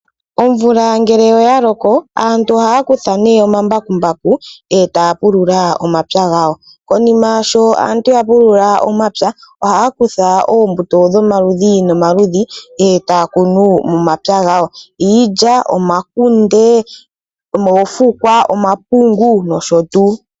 Omvula ngele oya loko, aantu ohaya kutha nee omambakumbaku etaya pulula omapya gawo. Konima sho aantu ya pulula omapya, ohaya kutha oombuto dhomaludhi nomaludhi etaya kunu momapya gawo. Iilya, omakunde, oofukwa, omapungu nosho tuu.